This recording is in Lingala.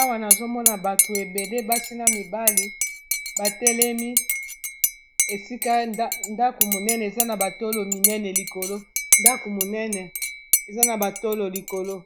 awa nazomona bato ebele basi na mibali batelemi esika ndako monene eza na batolo minene likolo ndako monene eza na batolo likolo